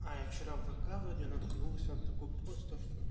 а я вчера в вк вроде наткнулся на такой пост то что